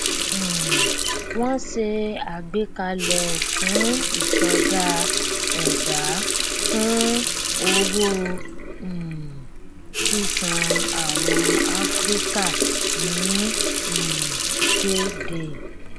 um wọn ṣe àgbékalẹ fún ìsọdá ẹbá fún owó um sísan àwọn afíríkà ní um payday